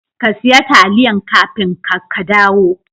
ka siya taliyan kafin ka kadawo.